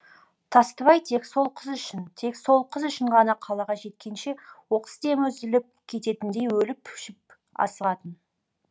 тастыбай тек сол қыз үшін тек сол қыз үшін ғана қалаға жеткенше оқыс демі үзіліп кететіндей өліп өшіп асығатын